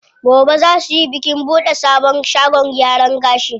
Gobe zaa suyi bikin buɗe sabon shagon gyaran gashi.